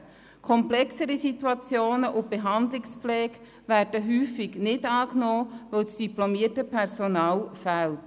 Komplexere Situationen und Behandlungspflege werden häufig nicht angenommen, weil das diplomierte Personal fehlt.